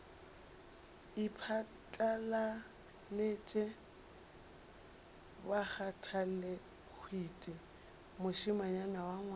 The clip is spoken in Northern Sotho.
iphatlalalet bakgathalehwiti mošemanyana wa nywaga